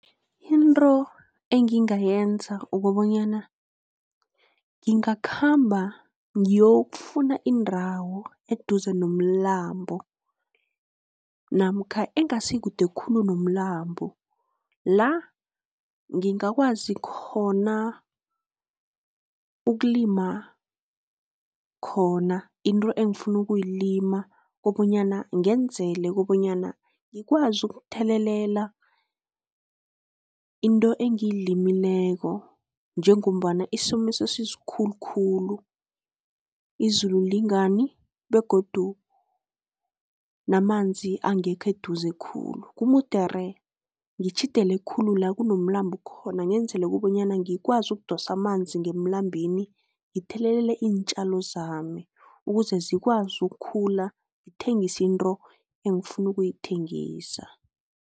Into engingayenza kobonyana ngingakhamba ngiyokufuna indawo eduze nomlambo, namkha engasikude khulu nomlambo, la ngingakwazi khona ukulima khona into engifuna ukulima kobanyana ngenzela kobanyana, ngikwazi ukuthelelela into engiyilimileko, njengombana isomiso sesisikhulukhulu izulu lingani, begodu namanzi angekho eduze khulu. Kumudere ngitjhidele khulu la kunomlambo khona. ngenzela kobonyana ngikwazi ukudosa amanzi ngemlambeni ngithelelele iintjalo zami, ukuze zikwazi ukukhula ngithengise into engifuna ukuyithengisa.